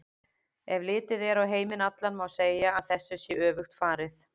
Ef litið er á heiminn allan má segja að þessu sé öfugt farið.